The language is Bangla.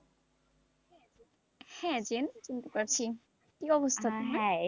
হেঁ, জেম চিনতে পারছি, কি অবস্থা তোমার,